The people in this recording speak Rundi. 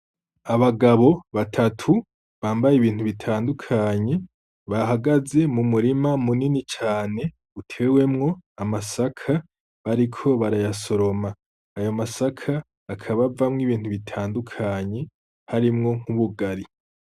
Abagabo batatu bambaye ibintu bitandukanye bahagaze mu murima munini cane utewemwo amasaka bariko barayasoroma. Ayo masaka akabavamwo ibintu bitandukanye harimwo nk'ubugari.